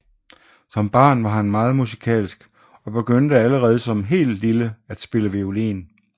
Som barn var han meget musikalsk og begyndte allerede som helt lille at spille violin